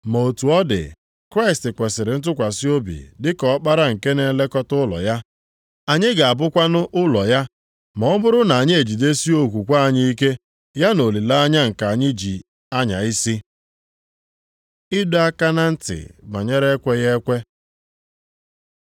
Ma otu ọ dị, Kraịst kwesiri ntụkwasị obi dịka ọkpara nke na-elekọta ụlọ ya. Anyị gabụkwanụ ụlọ ya ma ọ bụrụ na anyị ejidesie okwukwe anyị ike ya na olileanya nke anyị ji anya isi. Ịdọ aka na ntị banyere ekweghị ekwe